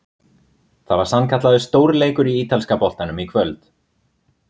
Það var sannkallaður stórleikur í ítalska boltanum í kvöld!